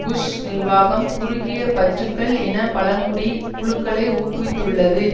push நிர்வாகம் குறுகிய பற்றுக்கள் இன பழங்குடி குழுக்களை ஊக்குவித்துள்ளது